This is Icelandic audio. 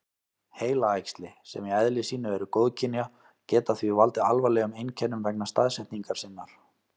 Heilaæxli, sem í eðli sínu eru góðkynja, geta því valdið alvarlegum einkennum vegna staðsetningar sinnar.